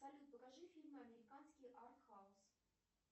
салют покажи фильмы американские арт хаус